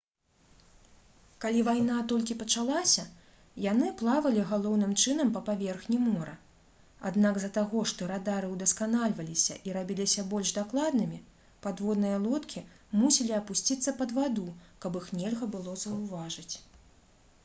калі вайна толькі пачалася яны плавалі галоўным чынам па паверхні мора аднак з-за таго што радары ўдасканальваліся і рабіліся больш дакладнымі падводныя лодкі мусілі апусціцца пад ваду каб іх нельга было заўважыць